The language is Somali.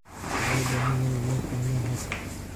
Shacabku waxay u baahan yihiin inay fahmaan habka.